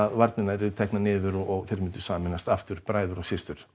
varnirnar yrðu teknar niður og tveir myndu sameinast aftur bræður og systur